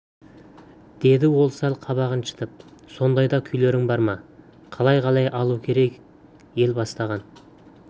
деді ол сәл қабағын шытып сондай да күйлерің бар ма қалай қалай алу керек ел бастаған